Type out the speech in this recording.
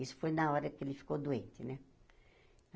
Isso foi na hora que ele ficou doente, né?